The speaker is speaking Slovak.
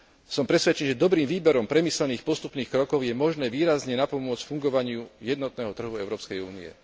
Som presvedčený, že dobrým výberom premyslených postupných krokov je možné výrazne napomôcť fungovaniu jednotného trhu Európskej únie.